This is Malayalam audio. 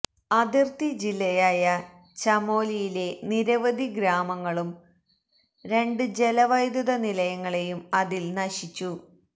അതിർത്തി ജില്ലയായ ചമോലിയിലെ നിരവധി ഗ്രാമങ്ങളും രണ്ട് ജലവൈദ്യുത നിലയങ്ങളെയും അതിൽ നശിച്ചു